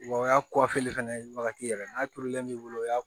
Wa o y'a fɛnɛ wagati yɛrɛ n'a turulen b'i bolo o y'a